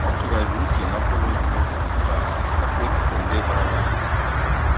Ọ tụgharịrị uche na mgbanwe dị n'oge ugbu a ma chọtakwa echiche ndị gbara ya gburugburu.